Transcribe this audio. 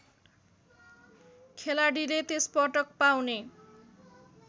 खेलाडीले त्यसपटक पाउने